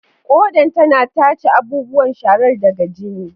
Kodan tana tace abubuwan sharar daga jini.